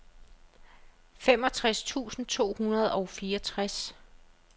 femogtres tusind to hundrede og fireogtres